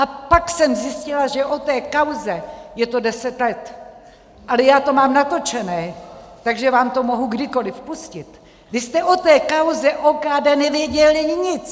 A pak jsem zjistila, že o té kauze - je to deset let, ale já to mám natočené, takže vám to mohu kdykoliv pustit - vy jste o té kauze OKD nevěděl nic.